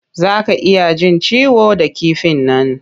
Za ka iya jin ciwo da kifin nan.